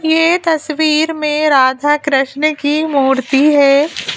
ये तस्वीर में राधा कृष्ण की मूर्ति है।